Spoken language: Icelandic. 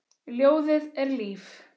Ljóðið er líf.